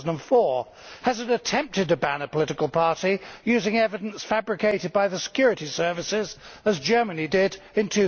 2004? Has it attempted to ban a political party using evidence fabricated by the security services, as Germany did in